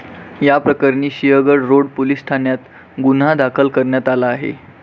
याप्रकरणी Sinhagad road police ठाण्यात गुन्हा दाखल करण्यात आला आहे.